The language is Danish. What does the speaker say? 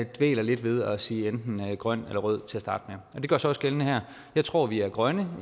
dvæler lidt ved at sige enten grøn eller rød til at starte og det gør sig også gældende her jeg tror vi er grønne